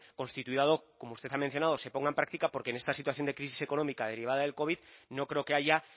como usted ha mencionado se ponga en práctica porque en esta situación de crisis económica derivada del covid no creo que haya